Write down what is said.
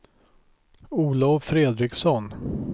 Olov Fredriksson